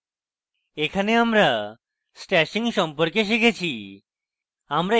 এখানে আমরা stashing সম্পর্কে শিখেছি